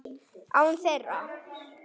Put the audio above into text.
Án þeirra.